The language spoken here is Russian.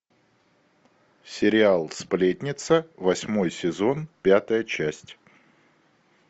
сериал сплетница восьмой сезон пятая часть